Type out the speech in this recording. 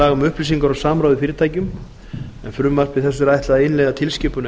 laga um upplýsingar og samráð í fyrirtækjum en frumvarpi þessu er ætlað að innleiða tilskipun